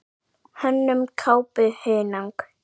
Hönnun kápu: Hunang.